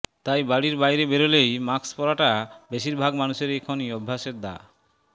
তাই বাড়ির বাইরে বেরলেই মাক্স পরাটা বেশির ভাগ মানুষেরই এখন অভ্যাসে দা